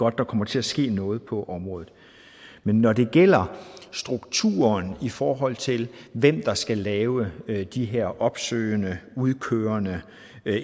at der kommer til at ske noget på området når det gælder strukturen i forhold til hvem der skal lave de her opsøgende udkørende